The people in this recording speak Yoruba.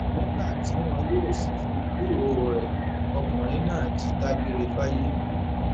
nígbà tí wọn yóò sì fi gbúròó rẹ ọkùnrin náà ti dágbére fáyé